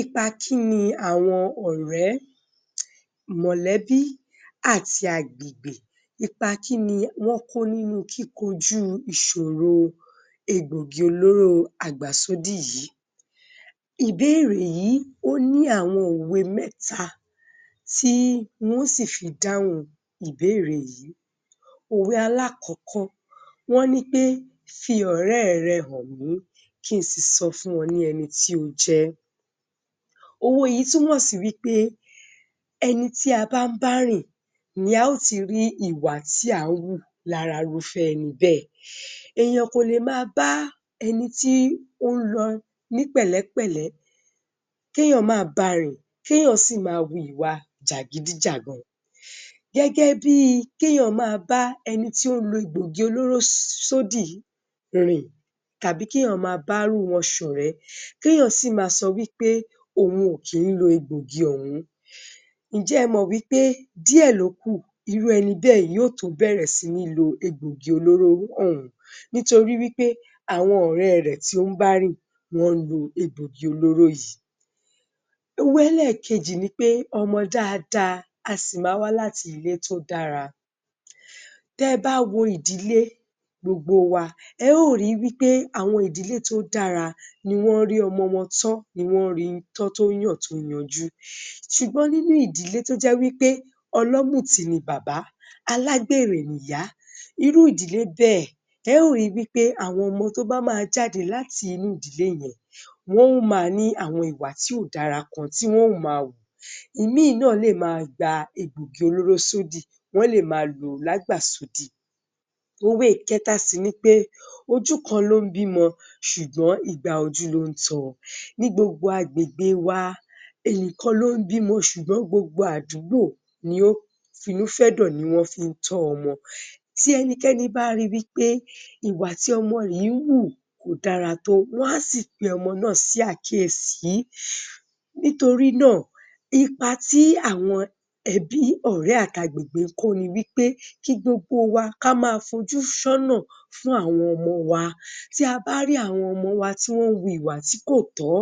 Ipa kí ni àwọn ọ̀rẹ́, mọ̀lẹ́bí, àti agbègbè, ipa kí ni wọ́n kó nínú kíkojú ìṣòro egbògi olóró àgbàsódì yìí. Ìbéèrè yìí, ó ní àwọn òwe mẹ́ta tí n wó sì fi dáhùn ìbéèrè yìí. Òwe alákọ̀kọ́, wọ́n ní pé, "fi ọ̀rẹ́ rẹ hàn mí, ki ǹ sì sọ fún ọ ẹni tí o jẹ́." òwe yìí túmọ̀ sí wí pé ẹni tí a bá ń bá rìn ni a ó ti rí ìwà tí à ń wù lára irúfẹ́ ẹni bẹ́ẹ̀. Èèyàn kò lè ma bá ẹni tí ó ń lọ ní pẹ̀lẹ́pẹ̀lẹ́, kí èèyàn máa barìn, kí èèyàn sì máa hùwa jàgídí-jàgan. Gẹ́gẹ́ bí kí èèyàn máa bá ẹni tí ó lo egbògi olóró sódì rìn tàbí kí èèyàn máa ba irú wọn ṣọ̀rẹ́, kí èèyàn sì ma sọ wí pé òun ò kí ń lo egbògi ọ̀hún. Ǹjẹ́ ẹ mọ̀ wí pé díẹ̀ lókù, irú ẹni bẹ́ẹ̀, yóò tó bẹ̀rẹ̀ sí ní lo egbògi olóró ọ̀hún. Nítorí wí pé, àwọn ọ̀rẹ́ rẹ̀ tí ó ń bá rìn wọ́n ń lo egbògi olóró yìí. Òwe ẹlẹ́kejì ni pé, "ọmọ dáadáa a sì ma wá láti ilé tó dára" Tẹ bá wo ìdílé gbogbo wa, ẹ ó ri wí pé àwọn ìdílé tó dára ni wọ́n ń rí ọmọ wọn tán, wọ́n ri tán tó yàn, tó yanjú. Ṣùgbọ́n nínú ìdílé tó jẹ́ wí pé ọlọ́mùtí ni bàbá, alágbèrè ni ìyá, irú ìdílé bẹ́ẹ̀, ẹ ó ri wí pé àwọn ọmọ tó bá máa jáde láti inú ìdílé yẹn, wọ́n ó ma ní àwọn ìwà tí ò dára kan tí wọ́n ó ma hù. Ìmí náà lè máa gba egbògi olóró sódì, wọ́n lè máa lòó lágbàsódì. Òwe ìkẹ́ta sì ni pé, "ojú kan ló ń bímọ ṣùgbọ́n igba ojú ló ń tọ". Ní gbogbo agbègbè wa èèyàn kan ló ń bímọ ṣùgbọ́n gbogbo àdúgbò ni ó finú-fẹ́dọ̀, ni wọ́n fí ń tọ ọmọ. Tí ẹnikẹ́ni bá ri wí pé ìwà tí ọmọ yìí ń hù, kò dára tó, wọ́n á sì pe ọmọ náà sí àkíyèsí nítorí náà, ipa ti àwọn ẹbí, ọ̀rẹ́, àti agbègbè ń kó ni wí pé, kí gbogbo wa ká ma fojú sọ́nà fún àwọn ọmọ wa. Tí a bá rí àwọn ọmọ wa tí wọ́n ń hu ìwà tí kò tọ́,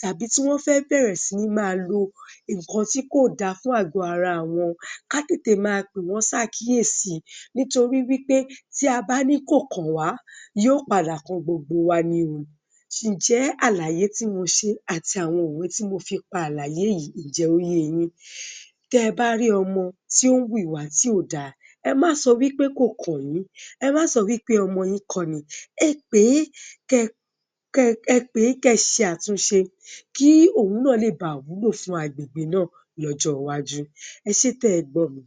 tàbí tí wọ́n fẹ́ bẹ̀rẹ̀ sí ma lo nǹkan tí kò da fún àgọ ara àwọn, ká tètè máa pè wọ́n ṣàkíyèsí nítorí wí pé tí a bá ní kò kàn wá, yóò padà kan gbogbo wa ni o. Ǹjẹ́ àlàyé ti mo ṣe àti àwọn òwe tí mo fi pàlàyé yìí, ǹjẹ́, ó yẹ yín? Tẹ bá rí ọmọ tí ó hu ìwà tí ò da, ẹ má sọ wí pé kò kàn yín, ẹ má sọ wí pé ọmọ yín kọ́ ni, ẹ pèé, ẹ pèé, kẹ́ṣe àtúnṣe kí òun náà ba lè wúlò fún agbègbè náà lọ́jọ́ iwájú. Ẹṣé tẹ gbọ́mi.